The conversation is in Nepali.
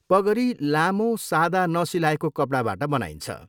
पगरी लामो सादा नसिलाएको कपडाबाट बनाइन्छ।